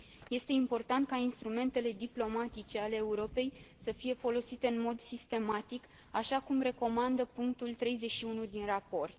Este important ca instrumentele diplomatice ale Europei să fie folosite în mod sistematic, așa cum recomandă punctul 31 din raport.